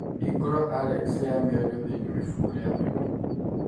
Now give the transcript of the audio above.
Hingũra Alex ya miario thĩinĩ wa ibuku rĩa thimũ